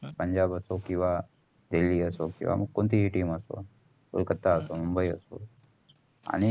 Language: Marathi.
पंजाब असो किंवा असो किंवा मग कोणतीही team असो. कोलकत्ता असो. मुंबई असो आणि